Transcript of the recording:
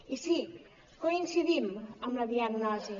i sí coincidim amb la diagnosi